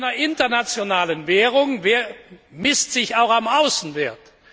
Der Wert einer internationalen Währung bemisst sich auch am Außenwert.